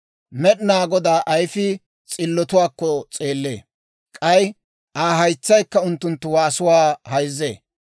Med'inaa Godaa ayifii s'illotuwaakko s'eellee; k'ay Aa haytsaykka unttunttu waasuwaa hayzzee.